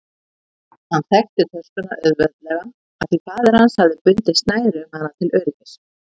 Hann þekkti töskuna auðveldlega af því faðir hans hafði bundið snæri um hana til öryggis.